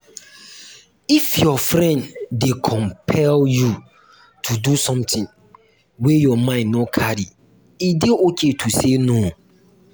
if your friend dey compel you to do something wey your mind no carry e dey okay to say no